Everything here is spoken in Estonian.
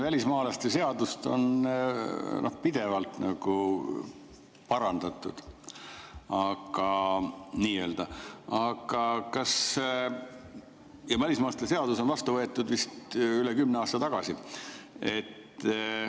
Välismaalaste seadust on pidevalt nii-öelda parandatud ja see võeti vastu vist üle kümne aasta tagasi.